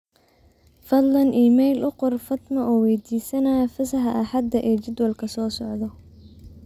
fadlan iimayl u qor fatma adoo waydiisanaya fasaxa axada ee jadwalka soo socda